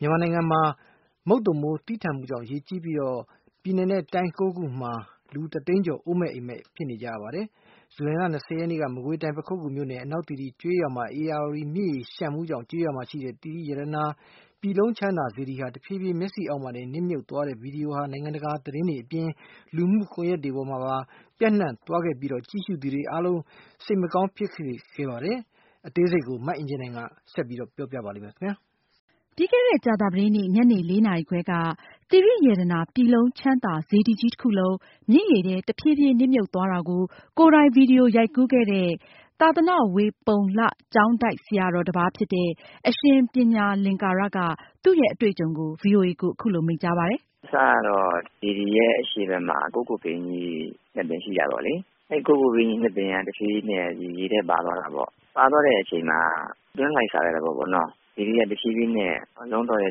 မြန်မာနိုင်ငံမှာ မုတ်သုန်မိုး သည်းထန်မှုကြောင့် ရေကြီးပြီး တိုင်းနဲ့ ပြည်နယ် ၉ ခုတို့မှာ လူ တသိန်းကျော် အိုးအိမ်မဲ့ ဖြစ်ခဲ့ကြရပါတယ်။ ဇူလိုင်လ ၂၀ ရက်နေ့က မကွေးတိုင်း ပခုက္ကူမြို့နယ် အနောက်သီရိကျေးရွာမှာ ဧရာဝတီမြစ်ရေလျှံမှုကြောင့် သီရိရတနာ ပြည်လုံးချမ်းသာစေတီဟာ တဖြေးဖြေးချင်း မျက်စေ့ရှိမှာတင် နစ်မြှုပ်သွားတဲ့ ဗွီဒီယိုဟာ နိုင်ငံတကာသတင်းတွေအပြင် လူမှုကွန်ယက်တွေမှာပါ ပျံနှံသွားခဲ့ရာမှာ ကြည့်ရှုသူတွေအတွက် စိတ်မကောင်းဖြစ်စေခဲ့ရပါတယ်။ အသေးစိတ်ကိုတော့ မအင်ကြင်းနိုင်က ဆက်ပြီး ပြောပြမှာပါ။ ပြီးခဲ့တဲ့ ကြာသာပတေးနေ့ ညနေ ၄ နာရီခွဲက သီရိရတနာ ပြည်လုံးချမ်းသာစေတီကြီးတခုလုံး မြစ်ရေထဲတဖြေးဖြေးနစ်မြှုပ်သွားတာကို ကိုယ်တိုင် ဗွီဒီယိုရိုက်ကူးခဲ့တဲ့ သာသန ဝေပုလ္လကျောင်းတိုက် ဆရာတော်တပါးဖြစ်တဲ့ အရှင်ပညာလင်္ကာရက သူရဲ့အတွေ့အကြုံကို ဗွီအိုအေကို အခုလို မိန့်ကြားပါတယ်။ “အစကတော့ စေတီအရှေ့ဘက်မှာ ကုက္ကိုပင် ၂ ပင်ရှိတာပေါ့လေ။ ကုက္ကိုပင် ၂ ပင်က တဖြေးဖြေးနဲ့ ရေထဲပါသွားးတာပေါ့။ ပါသွားတဲ့အချိန်မှာ အတွင်းလှိုက်စားတာပေါ့နော်။ စေတီက တဖြေးဖြေးနဲ့ အက်ကြောင်းတွေ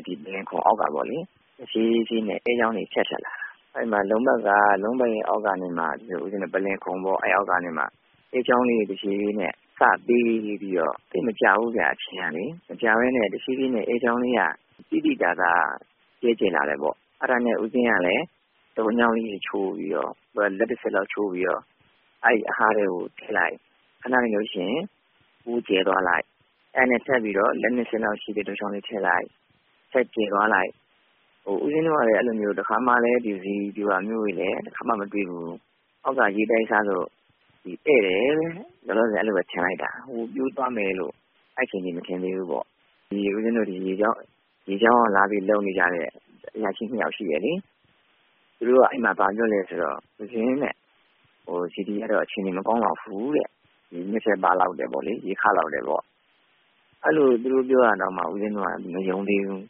ထပ်ထပ်လာတယ်။ အဲဒီမှာ လုံးပတ်ရဲ့အောက်ကနေမှ အက်ကြောင်းလေးတွေတဖြေးဖြေးနဲ့ စပြီးတော့ သိပ်မကြာဘူးခင်ဗျ အချိန်ကလေ။အက်ကြောင်းလေးတွေတဖြေးဖြေးနဲ့သိသိသာသာ ကျယ်လာတယ်ပေါ့နော်။ အဲဒါနဲ့ ဦးပဉ္စင်းကလည်း တုတ်ချောင်လေးတွေချိုးပြီးတော့ လက်တဆစ်လောက်ချိုးပြီးတော့ ထည့်လိုက် ၊ ခဏနေကျတော့ ကျယ်သွားလိုက်။ အဲဒါ ခဏနေကျရင်တော့ ထပ်ပြီးတော့ လက်၂ ဆစ်လောက်ရှိတဲ့ တုတ်ချောင်းလေးထည့်လိုက်၊ ဆက်ပြီးကျယ်သွားလိုက်နဲ့ ဦးပဉ္စင်းတို့လည်း အဲဒီလိုမျိုး တခါမှလည်း ဒီလိုစေတီပြိုတတွေလည်း မတွေ့ဖူးဘူး။” “အောက်က ရေတိုက်စားဖြစ်လို့ နဲ့တယ်အဲလိုပဲ လောလောဆယ်ထင်လိုက်တာအကုန် မြှပ်သွားမယ်လို့ အဲဒီအချိန်အထိ မထင်ခဲ့ဘူးပေါ့နော် ။ဦးပဉ္စင်း တို့မှာလည်း ရေကျောင်းကနေလာပြီးလုပ်နေကြတဲ့ အရာရှိ၂ ယောက်ရှိတယ်လေ ။ သူတို့က ဘာပြောလဲဆိုတော့ ဦးဇင်း စေတီကတော့ အခြေအနေမကောင်းလောက်ဘူးတဲ့ ၊ ရေခလောက်တယ်ပေါ့ ။ အဲဒီလို သူတို့ပြောတာတောင်မှဦးပဉ္စင်း တို့က မယုံသေးဘူး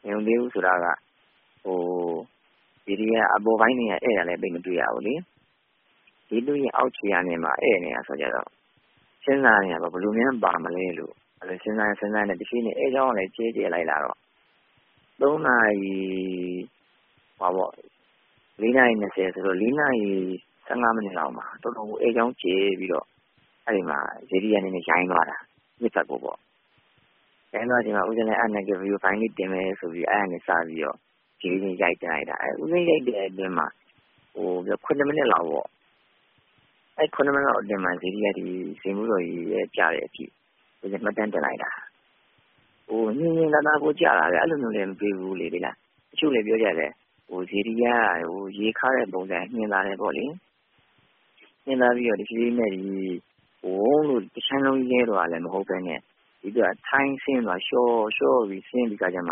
။ မယုံသေးဘူးဆိုတာက စေတီအပေါ်ပိုင်းတွေက အက်တာလည်း သိပ်မတွေ့ရဘူးလေ ၊ အောက်ခြေကနေ အက်နေတဲ့အခါကျတော့ စဉ်းစားနေတာပေါ့ ဘယ်လိုများပါမလဲပေါ့ စဉ်းစားရင်းနဲ့ အက်ကြောင်းကလည်း ကျယ်ကျယ်လာတာ။” “၄ နာရီ ၁၅ မိနစ်လောက်မှာ တော်တော်ကို အက်ကြောင်းကျယ်ပြီးတော့ အဲဒီမှာ စေတီက နည်းနည်းယိုင်သွားတယ်။ ယိုင်သွားတဲ့အချိန်မှာဦးပဉ္စင်းလည်း ဗွီဒီယိုဖိုင်လေးတင်မယ်ဆိုပြီး အဲဒီကနေစပြီးတော့ ရိုက်လိုက်တာ။ ဦးပဉ္စင်း ရိုက်တဲ့အထဲမှာ ၇ မိနစ်လောက်ပေါ့ ၊ အဲဒီ ၇ မိနစ်အတွင်းမှာ စေတီက စိန်ဖူးတော် ရေထဲကျတဲ့အထိ ဦဇင်းမှတ်တမ်းတင်လိုက်တာ။ ညှင်ညှင်သာသာကိုကျတာ။ အဲလိုမျိုးကျတာလည်း မတွေ့ဖူးဘူးလေ။ တချို့လည်းပြောကြတယ် စေတီက ရေခတဲ့ ပုံစံက ညှင်သာတယ်ပေါ့လေ။ တဖြေးဖြေးနဲ့ ဝုန်းဆိုပြီးတော့ တခြမ်းလုံးကြီးလဲသွားတာလည်း မဟုတ်ပဲနဲ့ ဒီအတိုင်းထိုင်ပြီးလျောပြီးဆင်းသွားတယ်။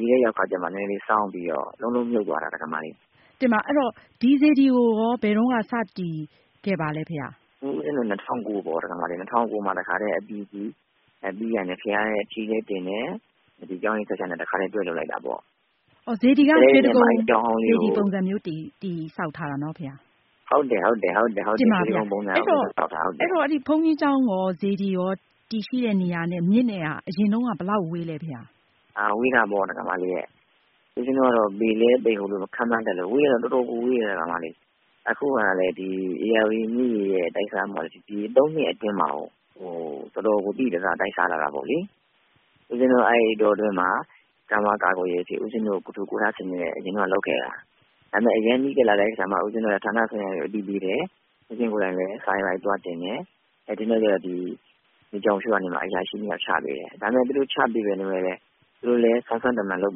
ရေထဲရောက်တဲ့အခါကျမှ နည်းနည်းလေးစောင်းပြီးတော့ လုံးလုံးမြုပ်သွားတာ ဒကာမကြီး။” မေး။ ။ တင်ပါ့ အဲဒီတော့ ဒီစေတီကိုရော ဘယ်တုန်းက စတည် ခဲ့ပါသလဲဘုရား။ ဖြေ။ ။ ဦဇင်းတို့ ၂၀၀၉ မှာ ပေါ့၊ ၂၀၀၉ မှာ အပြီးအစီး ၊ ပြီးတာနဲ့ ဘုရားထီးလည်းတင်တယ်၊ ဒီကျောင်းကိစ္စလည်းတခါတည်းတွဲလုပ်လိုက်တာပေါ့။ မေး။ ။ စေတီက ရွှေတိဂုံပုံစံမျိုး တည်ဆောက်ထားတာနော် ဘုရား။ ဖြေ။ ။ဟုတ်ပါတယ် ရွှေတိဂုံပုံစံမျိုး။ မေး။ ။တင်ပါ့ အဲဒီတော့ ဘုန်းကြီးကျောင်းရော စေတီရော တည်ရှိတဲ့နေရာနဲ့ မြစ်နဲ့ ကအရင်တုန်းက ဘယ်လောက်ဝေးသလဲ ဘုရား။ ဖြေ။ ။ဝေးတာပေါ့။ဦးပဉ္စင်း တို့က ဘယ်လောက်ဝေးတာလဲဆိုတာကို တော့ မခန့်မှန်းနိုင်ဘူး ဒါပေမယ့် ဝေးတာကတော့ တော်တော့်ကိုဝေးတယ်။ အခုကလည်း ဧရာဝတီမြစ်ရေရဲ့ တိုက်စားမှုကလည်း ဒီ၃ နှစ်အတွင်းမှာ တော်တော်ကို သိသိသာသာ တိုက်စားလာတာပေါ့လေ။ ဦးပဉ္စင်း တို့က အဲဒီအတောအတွင်းမှာ ကိုယ်ထူကိုယ်ထစနစ်နဲ့ လုပ်ခဲ့တယ်။ ဒါပေမယ့် အရမ်းနီးကပ်လာတဲ့ အခါ ဦးဇင်းတို့ကလည်း ဌာနဆိုင်ရာတွေကို အသိပေးတယ်၊ ဦးပဉ္စင်း ကိုယ်တိုင်လည်း စာသွားတင်တယ်။ ဒါကြောင့်မို့လို့ ရေကြောင်းထိန်းသိမ်းရေးက အရာရှိ ၂ ယောက်ချပေးတယ်။ သူတို့လည်း စွမ်းစွမ်းတမံလုပ်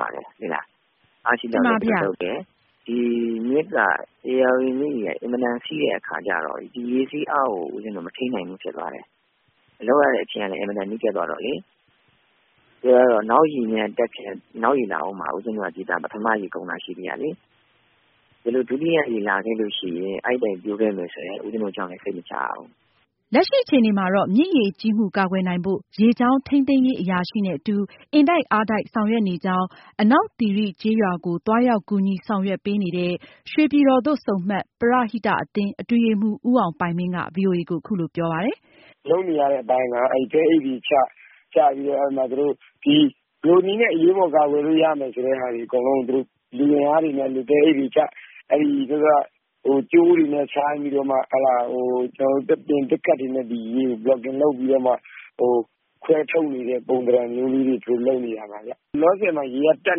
ပါတယ်။ ဧရာဝတီမြစ်ရေက အင်မတန်စီးတဲ့ အခါကျတော့ ဒီရေစီးအားကို ဦးပဉ္စင်း တို့ကမထိန်းနိုင်ဘူးဖြစ်သွားတယ်။ လုပ်ရတဲ့အချိန်ကလည်း အင်မတန် နီးကပ်သွားတော့လေ ၊ နောက်ရေလာဦးမှာကို ဦးပဉ္စင်း တို့က ဒါပထမရေပဲရှိသေးတာကို ဒီလို ဒုတိယရေလာခဲ့လို့ရှိရင် အဲဒီအတိုင်းဖြစ်မယ်ဆိုရင် ဦးပဉ္စင်း တို့ကျောင်းလည်း စိတ်မချရဘူး။” လက်ရှိအခြေအနေမှာတော့ မြစ်ရေကြီးမှုကာကွယ်နိုင်ဖို့ရေကြောင်းထိန်းသိမ်းရေးအရာရှိနဲ့အတူ ဒေသခံတွေ၊ ပရဟိတအသင်းတွေက အင်တိုက်အားတိုက် ဆောင်ရွက်နေကြောင်း အနောက်သီရိကျေးရွာကို သွားရောက် ကူညီဆောင်ရွက်ပေးနေတဲ့ ရွှေပြည်တော်သို့ဆုံမှတ် ပရဟိတအသင်း အတွင်းရေးမှူး ဦးအောင်ပိုင်မင်းက ဗွီအိုအေကို အခုလို ပြောပြပါတယ်။ “လုပ်နေရတဲ့အပိုင်းက သဲအိတ်တွေချ၊ ချပြီးတော့ ဘယ်လိုနည်းနဲ့ အရေးပေါ်ကာကွယ်လို့ရမယ်ဆိုတာတွေအကုန်လုံးကို သူတို့လူအင်အားတွေနဲ့ သူတို့ သဲအိတ်ချ၊ ကြိုးတွေလည်းတားပြီးတော့ ခွဲထုတ်နေတဲ့ ပုံသဏ္ဍန်မျိုးတွေ လုပ်နေရပါတယ်။ လောလောဆယ်မှာတော့ ရေကတော့ တက်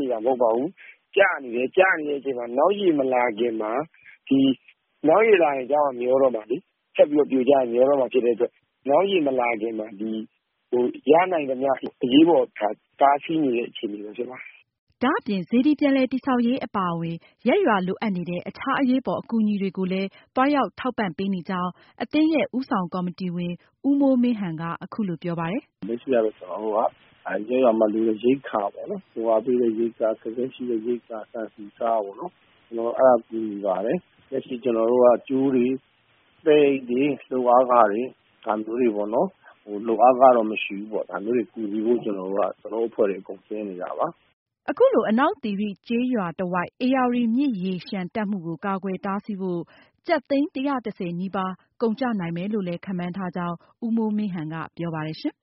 နေတာတော့မဟုတ်ပါဘူး။ ကျနေတဲ့အချိန်မှာ နောက်ရေမလာခင်မှာ နောက်ရေလာရင်တော့ မျောတော့မှာလေ၊ ဆက်ပြီးပြိုမယ်မျောမယ်ဆိုတော့ နောက်ရေမလာခင်မှာ ရနိုင်သမျှ အရေးပေါ်တားဆီးနေတဲ့ အခြေအနေဖြစ်ပါတယ်။” ဒါအပြင် စေတီပြန်လည်တည်ဆောက်ရေးအပါအဝင် ရပ်ရွာလိုအပ်နေတဲ့ အခြားအရေးပေါ်အကူအညီတွေကိုလည်း သွားရောက်ထောက်ပံ့ပေးနေကြောင်း အသင်းရဲ့ ဦးဆောင်ကော်မတီဝင် ဦးမိုးမင်းဟန်က အခုလိုပြောပါတယ်။ “လက်ရှိကတော့ ကျနော်တို့က ရပ်ရွာမှာလိုတဲ့ ရိက္ခာတွေကို သွားရောက်လှူဒါန်းပါတယ်။ ကြိုးတွေ၊ သဲအိတ်တွေ စတဲ့ လိုအပ်တဲ့ပစ္စည်းတွေကိုလည်း ကူညီနိုင်ဖို့ ကျနော်တို့အဖွဲ့အားလုံး အဲဒီကိုဆင်းသွားကြပါတယ်။” အခုလို အနောက်သီရိကျေးရွာ တဝိုက် ဧရာဝတီမြစ်ရေလျှံတက်မှုကို ကာကွယ်တားဆီးဖို့ ကျပ်သိန်း ၁၁၀ နီးပါးကုန်ကျနိုင်မယ်လို့ ခန့်မှန်းထားကြောင်း ဦးမိုးမင်းဟန်ကပြောပါတယ်ရှင်